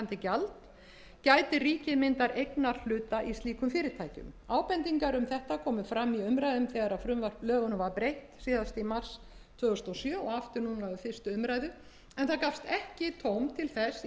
stighækkandi gjald gæti ríkið myndað eignarhluta í slíkum fyrirtækjum ábendingar um þetta komu fram í umræðum þegar lögunum var breytt síðast í mars tvö þúsund og sjö og aftur núna í fyrstu umræðu en það gafst ekki tóm til þess í